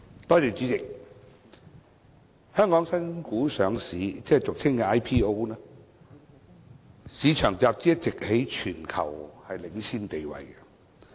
代理主席，香港新股上市市場集資一直在全球享有領先地位。